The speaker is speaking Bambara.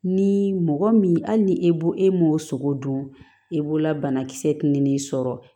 Ni mɔgɔ min hali ni e bo e m'o sogo dun e b'o la banakisɛ ni ne sɔrɔ